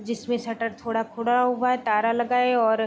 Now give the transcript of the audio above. जिसमे शटर थोड़ा खुला हुआ है ताला लगा है और --